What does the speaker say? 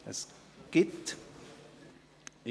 – Es gibt welche.